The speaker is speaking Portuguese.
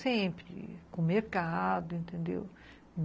Sempre, com mercado, entendeu?